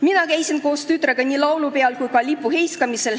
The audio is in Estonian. Mina käisin koos tütrega nii laulupeol kui ka lipuheiskamisel.